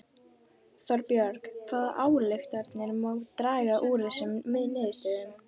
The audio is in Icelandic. Þorbjörn hvaða ályktanir má draga af þessum niðurstöðum?